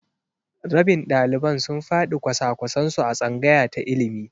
Rabin ɗaliban sun faɗi kwasa-kwasan su a tsangaya ta ilimi.